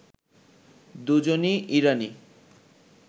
দুজনই ইরানি